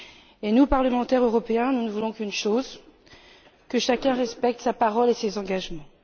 Et nous, parlementaires européens, nous ne voulons qu'une chose que chacun respecte sa parole et ses engagements.